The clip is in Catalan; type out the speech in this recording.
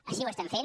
així ho estem fent